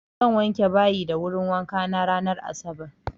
Zan wanke bayi da wurin wankana ranar asabar.